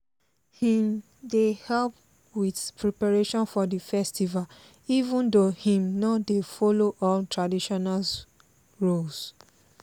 im dey help with preparation for the festival even though im no dey follow all traditional roles